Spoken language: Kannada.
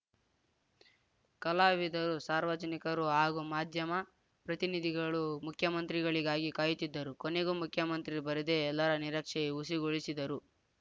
ಕಲಾವಿದರು ಸಾರ್ವಜನಿಕರು ಹಾಗೂ ಮಾಧ್ಯಮ ಪ್ರತಿನಿಧಿಗಳು ಮುಖ್ಯಮಂತ್ರಿಗಳಿಗಾಗಿ ಕಾಯುತ್ತಿದ್ದರು ಕೊನೆಗೂ ಮುಖ್ಯಮಂತ್ರಿ ಬರದೆ ಎಲ್ಲರ ನಿರಕ್ಷೆ ಹುಸಿಗೊಳಿಸಿದರು